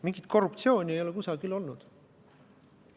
Mingit korruptsiooni ei ole kusagil olnud.